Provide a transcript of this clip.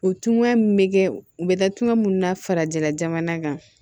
O tunya min bɛ kɛ u bɛ taa tunga min na farajɛla jamana kan